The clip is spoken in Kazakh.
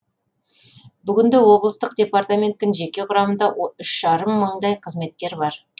бүгінде облыстық департаменттің жеке құрамында үш жарым мыңдай қызметкер бар